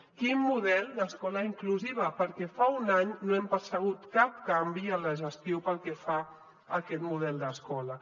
quin model d’escola inclusiva perquè fa un any no hem percebut cap canvi en la gestió pel que fa a aquest model d’escola